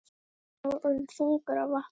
Báturinn var orðinn þungur af vatni.